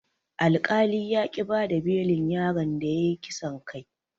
Alkali yaƙi bada belin yaron da yayi kisan kai.